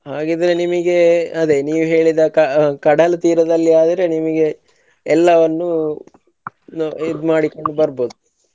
ಹಾಗಿದ್ರೆ ನಿಮಗೆ ಅದೇ ನೀವ್ ಹೇಳಿದ ಕ~ ಕಡಲ ತೀರದಲ್ಲಿ ಅದರೆ ನಿಮಗೆ ಎಲ್ಲವನ್ನು ನೋ~ ಇದ್ ಮಾಡಿಕೊಂಡು ಬರ್ಬೋದು.